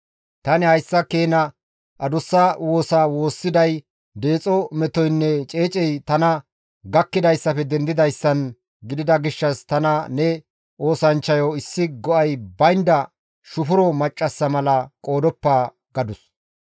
Tani hayssa keena adussa woosa woossiday deexo metoynne ceecey tana gakkidayssafe dendidayssan gidida gishshas tana ne oosanchchayo issi go7ay baynda shufuro maccassa mala qoodoppa» gadus.